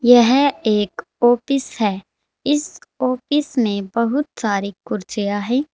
यह एक ऑफिस है इस ऑफिस में बहुत सारी कुर्सियां है।